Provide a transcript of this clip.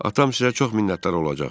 Atam sizə çox minnətdar olacaq.